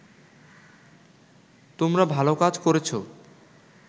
তোমরা ভালো কাজ করেছো